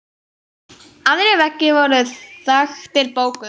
Aðrir veggir voru þaktir bókum.